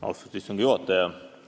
Austatud istungi juhataja!